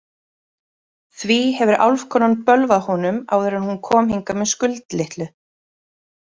Því hefur álfkonan bölvað honum áður en hún kom hingað með Skuld litlu.